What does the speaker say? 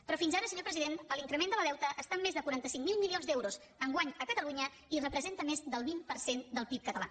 però fins ara senyor president l’increment del deute està en més de quaranta cinc mil milions d’euros enguany a catalunya i representa més del vint per cent del pib català